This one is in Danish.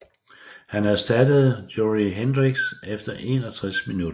Han erstattede Jorrit Hendrix efter 61 minutter